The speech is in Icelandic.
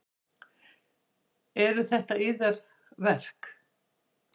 Eru þetta yðar verk?